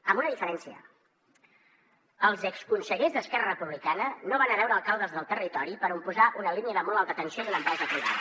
amb una diferència els exconsellers d’esquerra republicana no van a veure alcaldes del territori per posar una línia de molt alta tensió i d’una empresa privada